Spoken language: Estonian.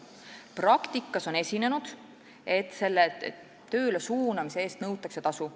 Praktikas on esinenud juhtumeid, kus töölesuunamise eest nõutakse tasu.